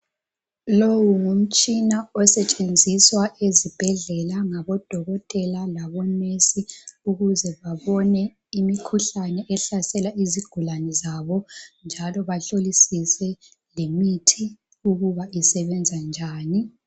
Lowu ngumtshina osetshenziswa ezibhedlela ngabodokotela labonesi. Ukuze babone imikhuhlane ehlasela izigulane zabo, njalo bahlolisise lemithi, ukuba isebenza njani..